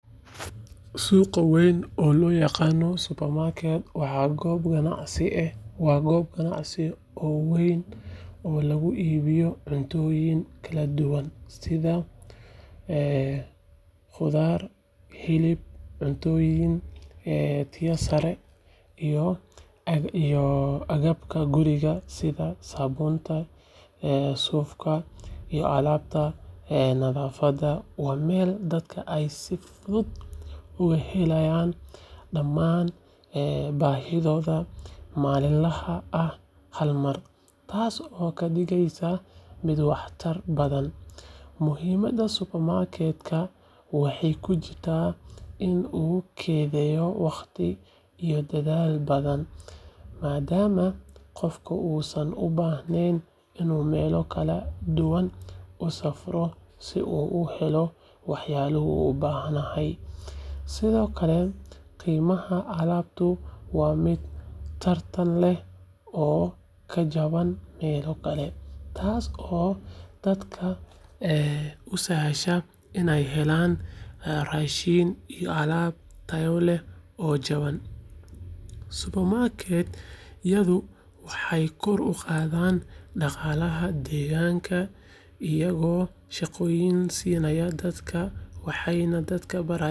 Suqa weyn oo lo yaqano supermarket waa gob ganacsi eh oo weyn oo lagu ibiyo cuntoyin kala duwan sitha qudhaar ee hilib cuntoyin biya sare iyo agabka guriga habontahay iyo nadhafaada daman bahidoda malin laha ah hal mar , madama qof u ubahnen waqti si u bahanahay, sithokale qimo tartan leh oo dadka u sahasha rashin iyo alab tayo leh oo jawan, supermarket iyadha oo ee kor u qadhan deganka iyaga oo sinaya dadka waxena dadka barayin.